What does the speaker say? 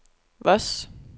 Voss